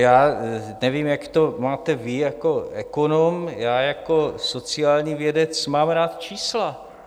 Já nevím, jak to máte vy jako ekonom, já jako sociální vědec mám rád čísla.